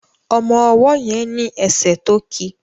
Ọmọ ọwó yen ní esè to kí.